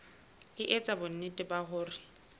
e etsa bonnete ba hore